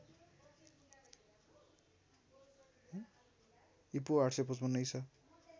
ईपू ८५५ ईसा